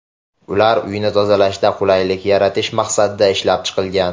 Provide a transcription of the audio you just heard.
Ular uyni tozalashda qulaylik yaratish maqsadida ishlab chiqilgan.